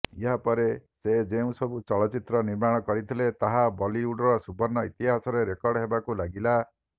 ଏହାପରେ ସେ ଯେଉଁ ସବୁ ଚଳଚ୍ଚିତ୍ର ନିର୍ମାଣ କରିଥିଲେ ତାହା ବଲିଉଡର ସୁବର୍ଣ୍ଣ ଇତିହାସରେ ରେକର୍ଡ ହେବାକୁ ଲାଗିଲା